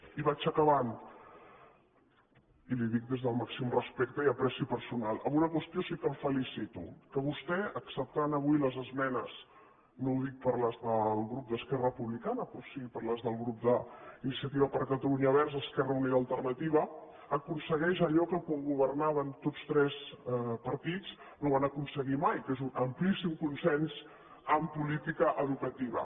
i vaig acabant i li ho dic des del màxim respecte i afecte personal en una qüestió sí que el felicito que vostè acceptant avui les esmenes no ho dic per les del grup d’esquerra republicana però sí per les del grup d’iniciativa per catalunya verds esquerra unida i alternativa aconsegueix allò que quan governaven tots tres partits no van aconseguir mai que és un amplíssim consens en política educativa